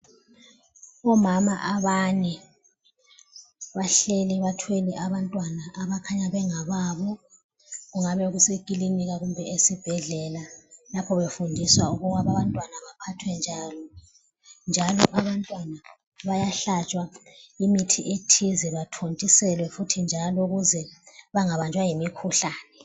Omama abane bahleli bathwele abantwana abakhanya bengababo. Kungabe kusekiliniki kumbe esibhedlela lapho befundiswa ukuba abantwana baphathwa njani. Njalo abantwana bayahlatshwa imithi ethize bathontiselwe futhi njalo ukuze bengabanjwa yimikhuhlane.